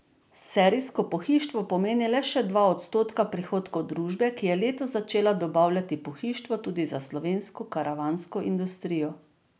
Serijsko pohištvo pomeni le še dva odstotka prihodkov družbe, ki je letos začela dobavljati pohištvo tudi za slovensko karavansko industrijo.